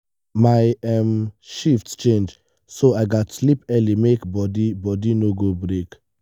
my um shift change so i gats sleep early make body body no go break.